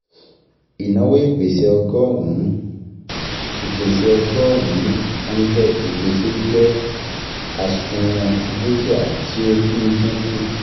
Ìnáwó ìpèsè ọgọ́rùn-ún ìpèsè ọgọ́rùn-ún hundred ìpèsè jẹ́ àsùnwòn dúkìá tí ó ń dínkù